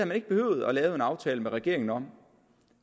man ikke behøvet at lave en aftale med regeringen om